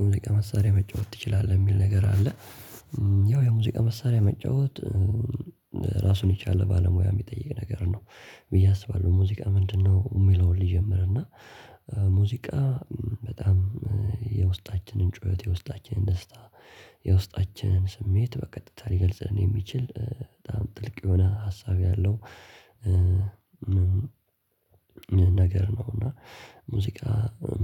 የሙዚቃ መሳሪያ መጫወት ትችላለህ? የሚል ነገር አለ ያው የሙዚቃ መሳሪያ መጫወት ራሱን የቻለ ባለሙያ የሚጠይቅ ነገር ነው ብዬ አስባለሁ ሙዚቃ ምንድነው የሚለውን ሊጀምር እና ሙዚቃ በጣም የውስጣችንን ጩኸት የውስጣችንን ደስታ የውስጣችንን ስሜት በቀጥታ ሊገልጽ የሚችል በጣም ጥልቅ የሆነ ሀሳብ ያለው ነገር ነው እና ሙዚቃ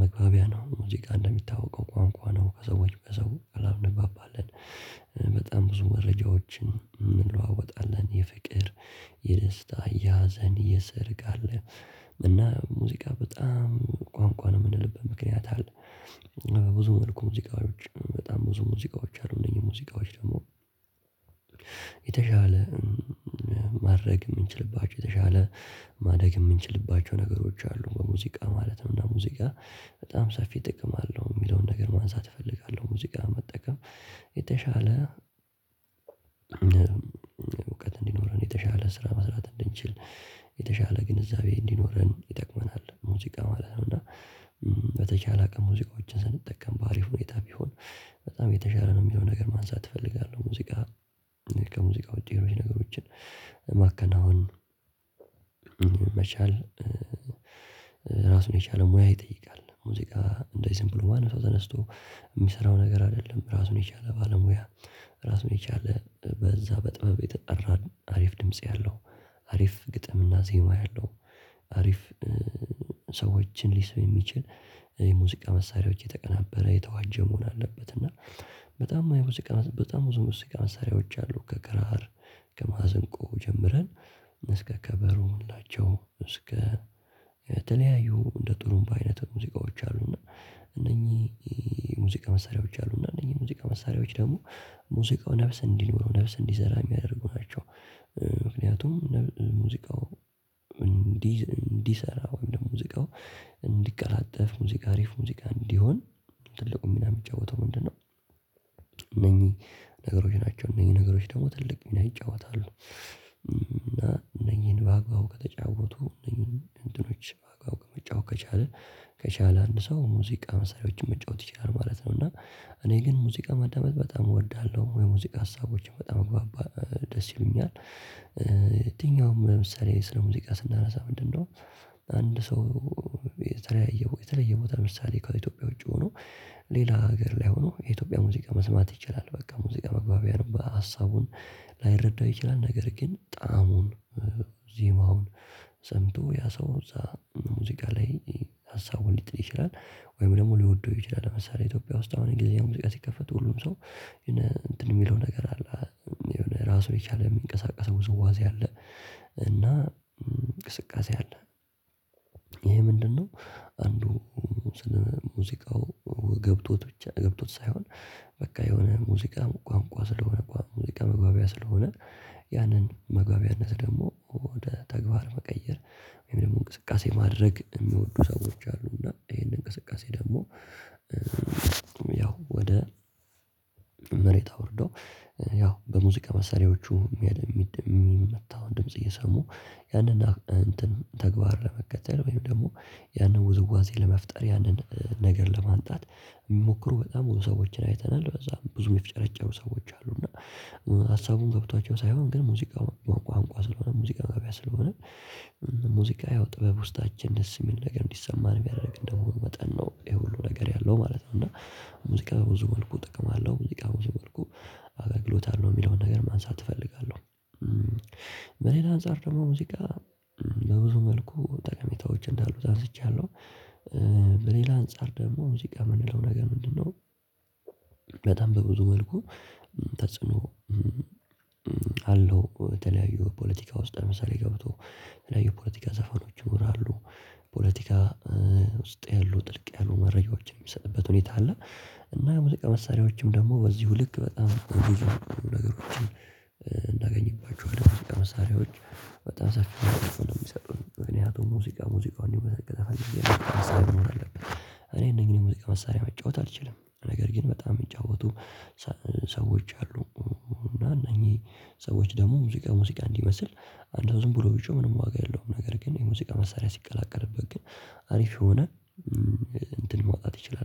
መግባቢያ ነው ሙዚቃ እንደሚታወቀው ቋንቋ ነው ከሰዎች በሰው እንግባባለን በጣም ብዙ መረጃዎችን እንለዋወጣለን የፍቅር የደስታ የሀዘን የሰርግ አለ እና ሙዚቃ በጣም ቋንቋ ነው የምንልበት ምክንያት አለ በብዙ መልኩ ሙዚቃዎች በጣም ብዙ ሙዚቃዎች አሉ እነዚህ ሙዚቃዎች ደግሞ የተሻለ ማድረግ የምንችልባቸው የተሻለ ማደግ የምንችልባቸው ነገሮች አሉ በሙዚቃ ማለት ነው እና ሙዚቃ በጣም ሰፊ ጥቅም አለው የሚለውን ነገር ማንሳት እፈልጋለሁ ሙዚቃ መጠቀም የተሻለ እውቀት እንዲኖረን የተሻለ ስራ መስራት እንድንችል የተሻለ ግንዛቤ እንዲኖረን ይጠቅመናል ሙዚቃ ማለት ነው እና በተቻለ አቅም ሙዚቃዎችን ስንጠቀም በአሪፍ ሁኔታ ቢሆን በጣም የተሻለ ነው የሚለው ነገር ማንሳት እፈልጋለሁ ሙዚቃ ከሙዚቃ ውጪ ነገሮችን ማከናወን መቻል ራሱን የቻለ ሙያ ይጠይቃል ሙዚቃ እንደዚህ ሲምፕል ሆኗል ማንም ተነስቶ የሚሰራው ነገር አይደለም ራሱን የቻለ ባለሙያ ራሱን የቻለ በዛ በጥበብ የተጠራን አሪፍ ድምጽ ያለው አሪፍ ግጥምና ዜማ ያለው አሪፍ ሰዎችን ሊሰማ የሚችል የሙዚቃ መሳሪያዎች የተቀናበረ የተዋጀ መሆን አለበት እና በጣም በጣም ብዙ ብዙ መሳሪያዎች አሉ ከክራር ከማሲንቆ ጀምረን እስከ ከበሩ እስከ የተለያዩ እንደ ጥሩምባ አይነት ሙዚቃዎች አሉና እነኚህ ሙዚቃ መሳሪያዎች አሉ እነኚህ ሙዚቃ መሳሪያዎች ደግሞ ሙዚቃው ነፍስ እንዲሆኑ ነፍስ እንዲዘራ የሚያደርጉ ናቸው ምክንያቱም ሙዚቃው እንዲሰራ ወይም ሙዚቃው እንዲቀላጠፍ ሙዚቃ አሪፍ ሙዚቃ እንዲሆን ትልቁን ሚና የምትጫወተው ምንድነው እነኚህ ነገሮች ናቸው እነኚህ ነገሮች ደግሞ ትልቅ ሚና ይጫወታሉ እና እነኚህን በአግባቡ ከተጫወቱ እነዚህን እንትኖች በአግባቡ ከመጫወት ከቻለ ከቻለ አንድ ሰው ሙዚቃ መሳሪያዎችን መጫወት ይችላል ማለት ነው እና እኔ ግን ሙዚቃ ማዳመጥ በጣም እወዳለሁ የሙዚቃ ሀሳቦችን በጣም ደስ ይሉኛል የትኛውም ለምሳሌ ስለ ሙዚቃ ስነሳ ምንድነው አንድ ሰው የተለያየ ቦታ ምሳሌ ከኢትዮጵያ ውጪ ሆኖ ሌላ ሀገር ላይ ሆኖ የኢትዮጵያ ሙዚቃ መስማት ይችላል በቃ ሙዚቃ መግባቢያ ነው ሀሳቡን ላይረዳው ይችላል ነገር ግን ጣዕሙን ዜማውን ሰምቶ ያ ሰው እዛ ሙዚቃ ላይ ሀሳቡን ሊጥል ይችላል ወይም ደግሞ ሊወደው ይችላል ለምሳሌ ኢትዮጵያ ውስጥ አሁን እንግሊዝኛ ሙዚቃ ሲከፈቱ ሁሉም ሰው የሚለው ነገር አለ የሆነ ራሱ የቻለ የሚንቀሳቀሰው ዝውውር አለ እና እንቅስቃሴ አለ ይሄ ምንድነው አንዱ ስለ ሙዚቃው ገብቶት ብቻ ገብቶት ሳይሆን በቃ የሆነ ሙዚቃ ቋንቋ ስለሆነ ሙዚቃ መግባቢያ ስለሆነ ያንን መግባቢያነት ደግሞ ወደ ተግባር መቀየር ወይም ደግሞ እንቅስቃሴ ማድረግ የሚወዱ ሰዎች አሉ እና ይሄንን እንቅስቃሴ ደግሞ ያው ወደ መሬት አውርደው ያው በሙዚቃ መሳሪያዎቹ ያለምንም የሚመታውን ድምጽ እየሰሙ ያንን ተግባር ለመከተል ወይም ደግሞ ያንን ውዝዋዜ ለመፍጠር ያንን ነገር ለማምጣት የሚሞክሩ በጣም ብዙ ሰዎችን አይተናል በዛ ብዙ የሚፍጨረጨሩ ሰዎች አሉ እና ሀሳቡን ገብቷቸው ሳይሆን ግን ሙዚቃ ቋንቋ ስለሆነ ሙዚቃ ማቢያ ስለሆነ ሙዚቃ ያው ጥበብ ውስጣችን ደስ የሚል ነገር እንዲሰማን ቢያደርግ እንደሆነ መጠን ነው ይሄ ሁሉ ነገር ያለው ማለት ነው እና ሙዚቃ በብዙ መልኩ ጥቅም አለው ሙዚቃ በብዙ መልኩ አገግሎት አለው የሚለውን ነገር ማንሳት እፈልጋለሁ በሌላ አንፃር ደግሞ ሙዚቃ በብዙ መልኩ ጠቀሜታዎች እንዳሉት አንስቻለሁ በሌላ አንፃር ደግሞ ሙዚቃ የምንለው ነገር ምንድነው በጣም በብዙ መልኩ ተጽዕኖ አለው በተለያዩ ፖለቲካ ውስጥ ለምሳሌ ገብቶ በተለያዩ ፖለቲካ ዘፈኖች ይኖራሉ ፖለቲካ ውስጥ ያሉ ጥልቅ ያሉ መረጃዎችን የሚሰጥበት ሁኔታ አለ እና የሙዚቃ መሳሪያዎችም ደግሞ በዚሁ ልክ በጣም ነገሮችን እናገኝባችኋለን ሙዚቃ መሳሪያዎች በጣም ሳትሆኑ ነው የሚሰጡት ምክንያቱም ሙዚቃ ሙዚቃ እንዲሁም በተከተለ መሳሪያ እኔ እንደኛ ሙዚቃ መሳሪያ መጫወት አልችልም ነገር ግን በጣም የምንጫወቱ ሰዎች አሉ እና እነኚህ ሰዎች ደግሞ ሙዚቃ ሙዚቃ እንዲመስል አንድ ሰው ዝም ብሎ ውጪው ምንም ዋጋ የለውም ነገር ግን የሙዚቃ መሳሪያ ሲቀላቀልበት ግን አሪፍ የሆነ እንትን መውጣት ይችላል